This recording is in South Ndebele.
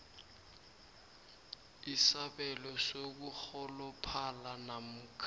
isabelo sokurholophala namkha